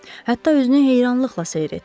Hətta özünü heyrandan seyr etdi.